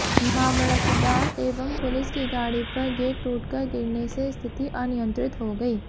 मामलतदार एवं पुलिस की गाड़ी पर गेट टूटकर गिरने से स्थिति अनियंत्रित हो गयी